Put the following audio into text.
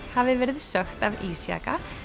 hafi verið sökkt af ísjaka